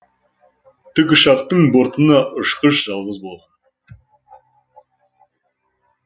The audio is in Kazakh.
тікұшақтың бортына ұшқыш жалғыз бол